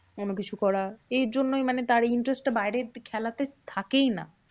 অন্য কিছু করা। এর জন্যই মানে তার interest টা বাইরের খেলাতে থাকেই না।